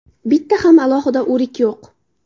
Bitta ham alohida o‘rik yo‘q.